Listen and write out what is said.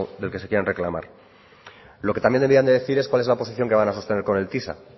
del que se quieran reclamar lo que también deberían de decir es cuál es la posición que van a sostener con el tisa